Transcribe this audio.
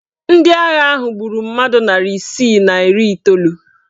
Ndị agha ahụ gburu mmadụ narị isi na iri iteolu.